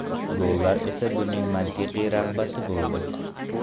Gollar esa buning mantiqiy rag‘bati bo‘ldi.